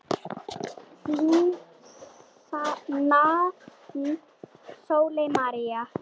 Þín nafna Sólveig María.